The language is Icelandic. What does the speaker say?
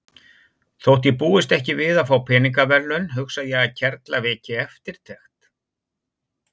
Þótt ég búist ekki við að fá peningaverðlaun hugsa ég að kerla veki eftirtekt.